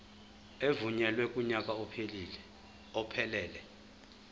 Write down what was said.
evunyelwe kunyaka ophelele